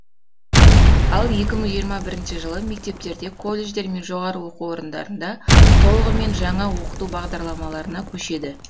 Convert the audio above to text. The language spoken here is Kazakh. ал екі мың жиырма бірінші жылы мектептерде колледждер мен жоғары оқу рындарында толығымен жаңа оқыту бағдарламаларына көшеді